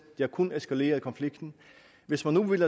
har kun eskaleret konflikten hvis man nu vil